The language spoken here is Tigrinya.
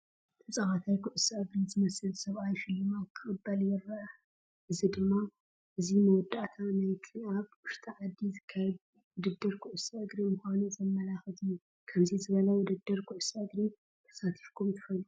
ተጻዋታይ ኩዕሶ እግሪ ዝመስል ሰብኣይ ሽልማት ክቕበል ይረአ። እዚ ድማ እዚ መወዳእታ ናይቲ ኣብ ውሽጢ ዓዲ ዝካየድ ውድድር ኩዕሶ እግሪ ምዃኑ ዘመልክት እዩ። ከምዚ ዝበለ ውድድር ኩዕሶ እግሪ ተሳቲፍኩም ትፈልጡ ዶ?